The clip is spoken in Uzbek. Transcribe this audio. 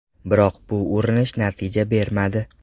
Biroq bu urinish natija bermadi.